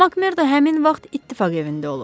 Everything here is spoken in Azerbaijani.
Makmerdo həmin vaxt ittifaq evində olub.